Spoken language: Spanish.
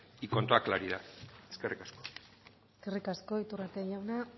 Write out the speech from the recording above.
y con toda claridad eskerrik asko eskerrik asko iturrate jauna